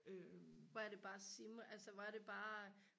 hvor er det bare altså hvor er det bare